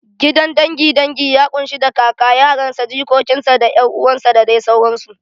Gidan dangin dangi ya ƙunshi da kaka, yaran sa, jikokin sa, da ƴan uwan sa da dai sauransu.